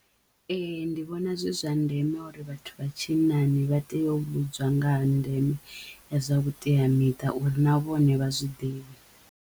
Ee ndi vhona zwi zwa ndeme uri vhathu vha tshinnani vha teyo u vhudzwa nga ha ndeme zwa vhuteamiṱa uri na vhone vha zwiḓivhe.